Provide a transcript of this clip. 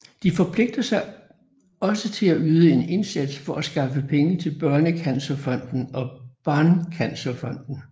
De forpligter sig også til at yde en indsats for at skaffe penge til Børnecancerfonden og Barncancerfonden